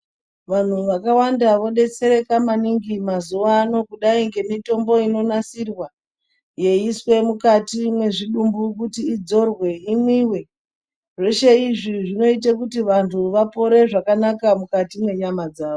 Vantu vakawanda vodetsereka maningi mazuvano, kudai ngemitombo inonasirwa yeiiswe mukati mwezvidumbu kuti idzorwe, imwiwe. Zveshe izvi zvinoite kuti vantu vapore zvakanaka mukati menyama dzavo.